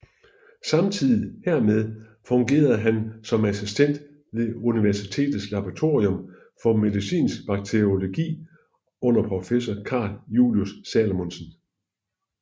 Samtidig hermed fungerede han som assistent ved universitetets laboratorium for medicinsk bakteriologi under professor Carl Julius Salomonsen